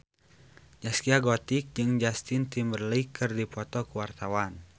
Zaskia Gotik jeung Justin Timberlake keur dipoto ku wartawan